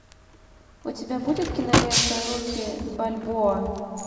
у тебя будет кинолента рокки бальбоа